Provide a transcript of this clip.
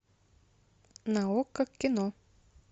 на окко кино